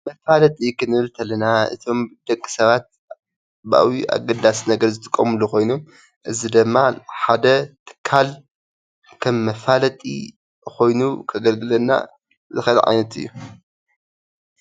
መፋለጢ ክንብል ተለና እቶም ደቂ ሰባት ብዓብይኡ ኣገዳሲ ነገር ዝጥቀምሉ ኾይኑ እዚ ድማ ሓደ ትካል ከም መፋለጢ ኾይኑ ከገልግለና ዝኽእል ዓይነት እዩ፡፡